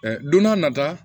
don n'a nata